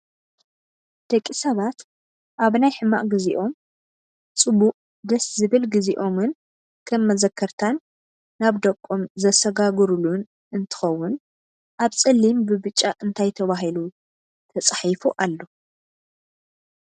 ደቂ ሰባት ኣብ ናይ ሕማቅ ግዝይኦም ፅቡቅ ደስ ዝብል ግዝይኦምን ከም መዘከርታን ናብ ደቆም ዘሰጋግሩሉን እንትከውን ኣብ ፀሊም ብብጫ እንታይ ተባሂሉ ተፃሒፉ ኣሎ?